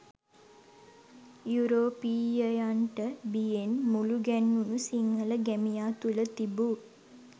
යුරෝපීයයන්ට බියෙන් මුළුගැන්වුණු සිංහල ගැමියා තුළ තිබූ